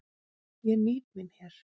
Ég nýt mín hér.